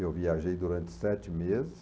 Eu viajei durante sete meses.